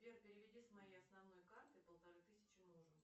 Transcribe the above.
сбер переведи с моей основной карты полторы тысячи мужу